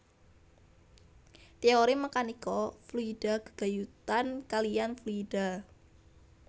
Téori mèkanika fluida gégayutan kaliyan fluida